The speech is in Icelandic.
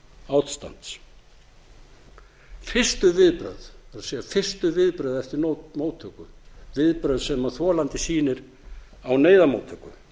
ástands fyrstu viðbrögð það er fyrstu viðbrögð eftir móttöku viðbrögð sem þolandi sýnir á neyðarmóttöku